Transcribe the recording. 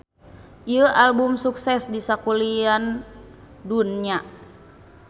Ieu album sukses di sakulian dunya.